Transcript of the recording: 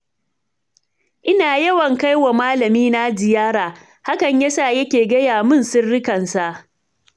Ina yawan kaiwa malamina ziyara, hakan ya sa ya ke gaya min sirrikansa.